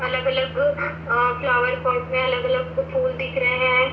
अलग अलग वो फ्लावर पोर्ट में अलग अलग ओ फूल दिख रहे है।